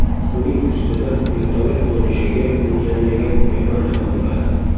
Uning ustida vertolyot qo‘nishiga mo‘ljallangan maydon ham bo‘ladi.